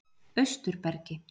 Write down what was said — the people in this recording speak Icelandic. Austurbergi